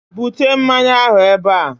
bute mmanya ahụ ebe a!